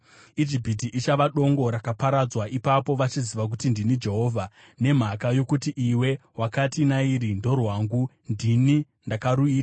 Ijipiti ichava dongo rakaparadzwa. Ipapo vachaziva kuti ndini Jehovha. “ ‘Nokuti iwe wakati, “Nairi ndorwangu; ndini ndakaruita,”